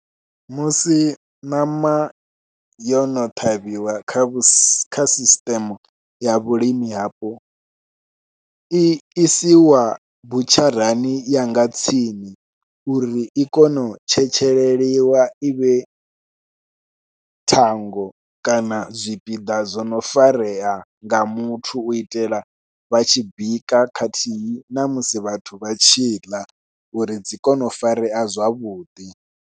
Musi ṋama yo no ṱhavhiwa kha sisiṱeme ya vhulimi hafho, i isiwa butsharani ya nga tsini uri i kone u tshetsheliwa i vhe thango kana zwipiḓa zwo no farea nga muthu u itela vha tshi bika khathihi na musi vhathu vha tshi ḽa uri dzi kone u farea zwavhuḓi.